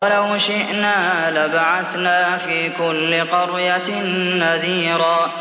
وَلَوْ شِئْنَا لَبَعَثْنَا فِي كُلِّ قَرْيَةٍ نَّذِيرًا